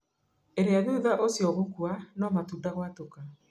ĩrĩa thutha ũcio gũkua na matunda gwatũka